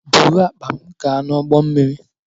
Buru akpa m gaa n'ụgbọ mmiri!